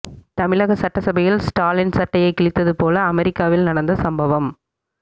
தமிழக சட்டசபையில் ஸ்டாலின் சட்டையை கிழித்தது போல அமெரிக்காவில் நடந்த சம்பவம்